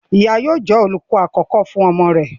Ìyá yóò jẹ́ olùkọ àkọ́kọ́ fún ọmọ rẹ̀.